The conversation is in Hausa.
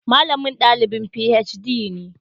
Malamin dalibin PhD ne